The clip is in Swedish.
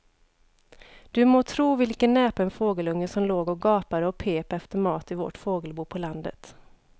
Du må tro vilken näpen fågelunge som låg och gapade och pep efter mat i vårt fågelbo på landet.